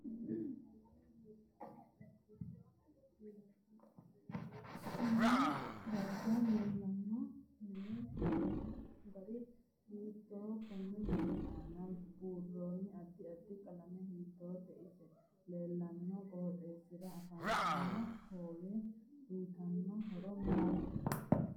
Konne darga leelanno mini minaminno gari hiitoo konni mini aana buuroo addi addi qalamma hiitoote isi leelanno qooxeesira afantanno hoowe uyiitanno horo maati